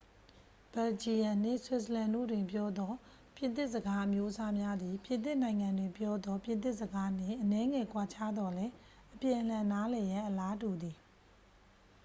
ဘယ်လ်ဂျီယမ်နှင့် ဆွစ်ဇာလန်တို့တွင်ပြောသော ပြင်သစ်စကားအမျိုးအစားများသည် ပြင်သစ်နိုင်ငံတွင်ပြောသော ပြင်သစ်စကားနှင့် အနည်းငယ်ကွာခြားသော်လည်း အပြန်အလှန်နားလည်ရန် အလားတူသည်